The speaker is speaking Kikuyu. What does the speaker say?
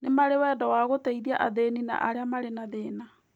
Nĩ marĩ wendo wa gũteithia athĩni na arĩa marĩ na thĩna.